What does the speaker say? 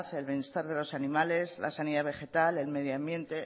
el bienestar de los animales la sanidad vegetal el medio ambiente